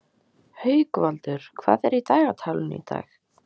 Haukvaldur, hvað er í dagatalinu í dag?